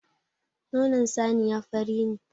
Nonon saniya fari ne.